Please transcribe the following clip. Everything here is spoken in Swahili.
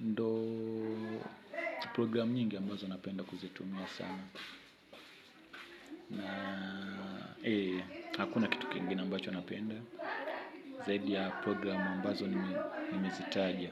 Ndo program nyingi ambazo napenda kuzitumia sana. Hakuna kitu kengine ambacho napenda zaidi ya program ambazo nimezitaja.